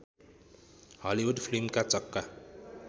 Hollywood फिल्मका चक्का